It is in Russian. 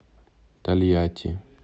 тольятти